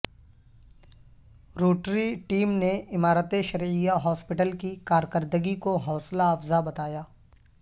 Rotary team نے Imarat Shariah hospital کی کارکردگی کو حوصلہ افزا بتایا